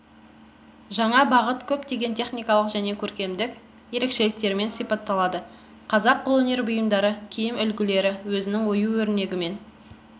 жаңа бағыт көптеген техникалық және көркемдік ерекшеліктермен сипатталады қазақ қолөнер бұйымдары киім үлгілері өзінің ою өрнегімен